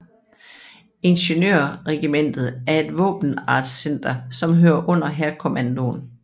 Ingeniørregimentet er et våbenartscenter som hører under Hærkommandoen